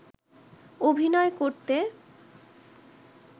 অভিনয় করতে